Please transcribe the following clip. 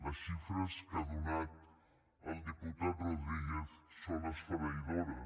les xifres que ha donat el diputat rodríguez són esfereïdores